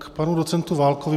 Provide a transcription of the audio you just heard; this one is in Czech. K panu docentu Válkovi.